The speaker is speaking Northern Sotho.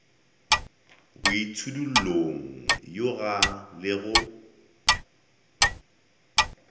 ka boitšhidullong yoga le go